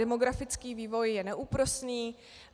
Demografický vývoj je neúprosný.